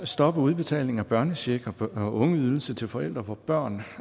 stoppe udbetaling af børnecheck og ungeydelse til forældre hvor børnene